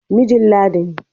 Mijin Ladi ne.